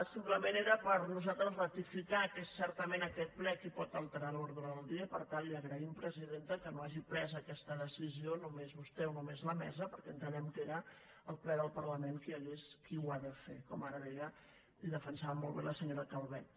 simplement era per nosaltres ratificar que és certament aquest ple qui pot alterar l’ordre del dia per tant li agraïm presidenta que no hagi pres aquesta decisió només vostè o només la mesa perquè entenem que era el ple del parlament qui ho ha de fer com ara deia i defensava molt bé la senyora calvet